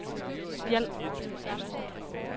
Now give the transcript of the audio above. Spjald